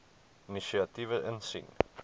inisiatiewe insien